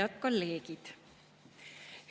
Head kolleegid!